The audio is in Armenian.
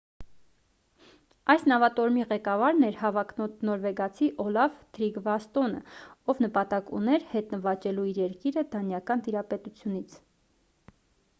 այս նավատորմի ղեկավարն էր հավակնոտ նորվեգացի օլաֆ թրիգվասսոնը ով նպատակ ուներ հետ նվաճելու իր երկիրը դանիական տիրապետությունից